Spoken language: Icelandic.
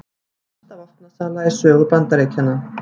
Stærsta vopnasala í sögu Bandaríkjanna